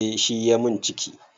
Eh shi ya min ciki